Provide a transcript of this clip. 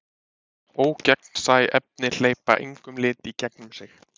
Ógegnsæ efni hleypa engum lit í gegnum sig.